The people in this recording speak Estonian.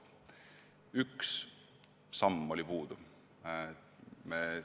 Üks samm jäi tegemata.